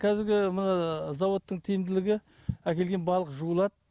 кәзіргі мына заводтың тиімділігі әкелген балық жуылады